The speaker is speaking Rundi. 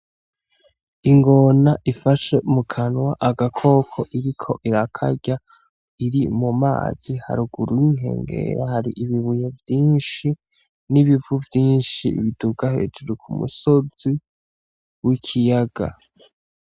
Ingona ifashe mu kanwa agakoko iriko irakarya iri mu mazi haruguru y'inkengera hari ibibuye vyinshi n'ibivu vyinshi biduga hejuru ku musozi w'ikiyaga.